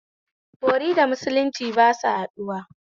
Bori da musulunci ba su haɗuwa